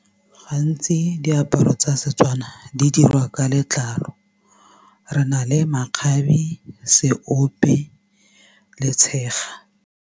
Gantsi diaparo tsa seTswana di dirwa ka letlalo re na le makgabe, seope le tshega.